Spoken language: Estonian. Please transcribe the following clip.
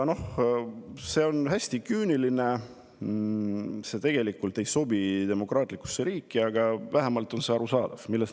See on hästi küüniline, see tegelikult ei sobi demokraatlikusse riiki, aga vähemalt on see arusaadav.